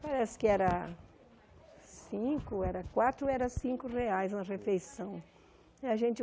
Parece que era cinco, ou quatro ou cinco reais uma refeição. E a gente